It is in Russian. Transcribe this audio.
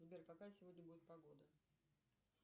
сбер какая сегодня будет погода